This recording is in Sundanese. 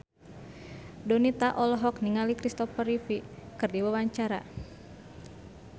Donita olohok ningali Christopher Reeve keur diwawancara